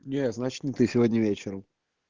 нет значит не ты сегодня вечером